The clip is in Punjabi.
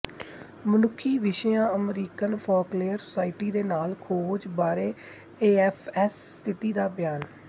ਮਨੁੱਖੀ ਵਿਸ਼ਿਆਂ ਅਮਰੀਕਨ ਫੋਕਲੇਅਰ ਸੁਸਾਇਟੀ ਦੇ ਨਾਲ ਖੋਜ ਬਾਰੇ ਏਐਫਐਸ ਸਥਿਤੀ ਦਾ ਬਿਆਨ